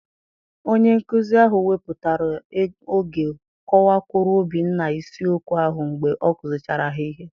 Onye nkuzi ahụ wepụtara oge kọwakwuru Obinna isiokwu ahụ mgbe ọ kuzichara ha ihe.